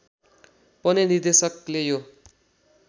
पनि निर्देशकले यो